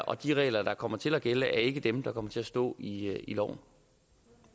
og de regler der kommer til at gælde er ikke dem der kommer til at stå i loven